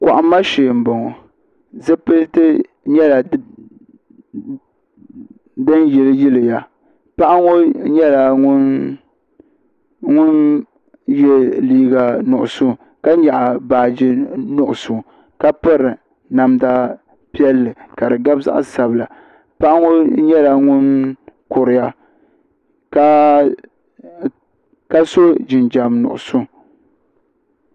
Kɔhimma shee m-bɔŋɔ zipiliti nyɛla din yiliyiliya paɣa ŋɔ nyɛla ŋun ye liiga nuɣuso ka nyaɣi baaji nuɣuso ka piri namda piɛlli ka di gabi zaɣ'sabila paɣa ŋɔ nyɛla ŋun kuriya ka so jinjam nuɣuso.